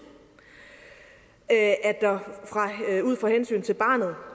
at der ud fra hensyn til barnet